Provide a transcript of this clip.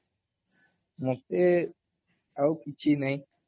ମତେ ଆଉ କିଛି ନାଇଁ